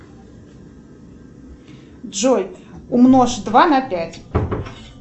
джой умножь два на пять